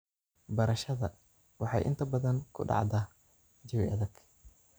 Barashada waxay inta badan ku dhacdaa jawi adag.